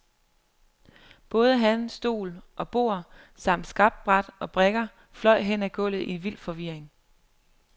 Både han, stol og bord samt skakbræt og brikker fløj hen ad gulvet i vild forvirring.